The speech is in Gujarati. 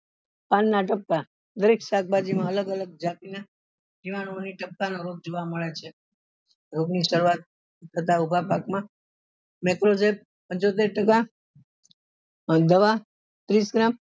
પાન ના ટપકા દરેક શાકભાજી માં અલગ અલગ જાતી ના જીવાણું ની ટપકા ના રોગ જોવા મળે છે રોગ ની સારવાર તથા ઉભા પાક માં પંચોતેર ટકા અને દવા ત્રીસ gram